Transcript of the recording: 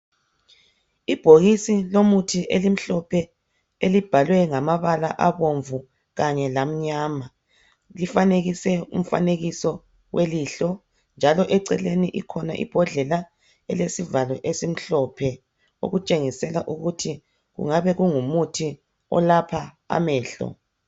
Ibhokisi lomuthi elimhlophe elibhalwe ngamabala abomvu kanye lamnyama. Lifanekiswe umfanekiso wilihlo. Njalo eceleni ikhona imbodlela elesivalo esimhlophe, okutshengisela ukuthi kungabe kungumuthi olapha amehlo.